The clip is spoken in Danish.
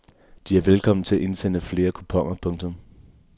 De er velkommen til at indsende flere kuponer. punktum